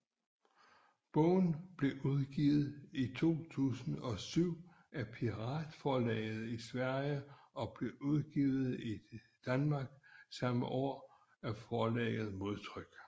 Bogen blev udgivet i 2007 af Piratforlaget i Sverige og blev udgivet i Danmark samme år af forlaget Modtryk